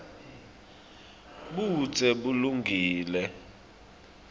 budze bulungile